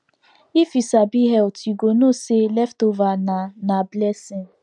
if you sabi health you go know say leftover na na blessing